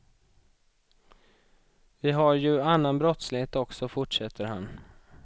Vi har ju annan brottslighet också, fortsätter han.